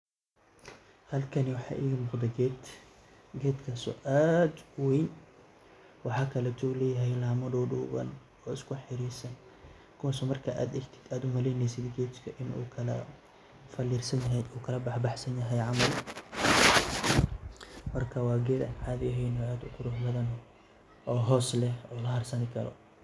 Halkani waxaa iga muqdaa geed, geedkaas oo aad uweyn. Waxaa kale ayuu leeyahay laama duduuwan oo isku xariirsan kuwaas oo marki aad egdid aad umaleyneysid geedka inuu kala faliirsanyahay uu kala baxbax sanyahay camal, markaa waa geed aad uqurux badan oo hoos leh oo laharsan karo.